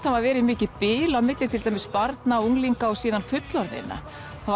hafa verið mikið bil á milli til dæmis barna unglinga og síðan fullorðinna